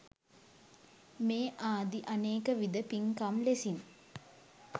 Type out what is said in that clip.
මේ ආදි අනේකවිධ පින්කම් ලෙසින්